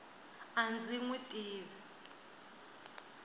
a ndzi n wi tivi